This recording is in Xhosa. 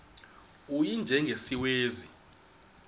u y njengesiwezi